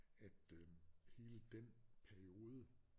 At øh hele den periode